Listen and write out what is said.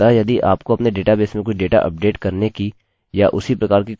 आपको यह भी स्पष्ट रूप से बताना चाहिए कि आप इसे कहाँ अपडेट करना चाहते हैं